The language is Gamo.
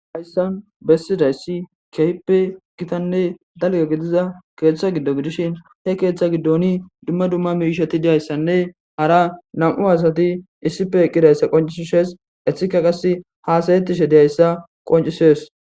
hayssan bessidayssi kehippe gitanne dalga gidiza keeththa giddo gidishin he keeththa giddoni dumma dumma miisheti diyayssanne hara nam7u asati issife eqqidayssa qoncisishes ethika qase haasayettishe deyayssa qoncisees